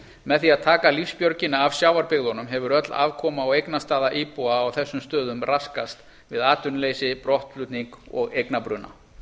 með því að taka lífsbjörgina af sjávarbyggðunum hefur öll afkoma og eignastaða íbúa á þessum stöðum raskast við atvinnuleysi brottflutning og eignabruna